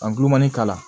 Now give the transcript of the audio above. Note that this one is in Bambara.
An gulonmanin k'a la